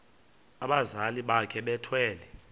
abazali bakhe bethwele